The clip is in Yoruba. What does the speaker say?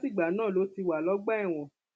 látìgbà náà ló ti wà lọgbà ẹwọn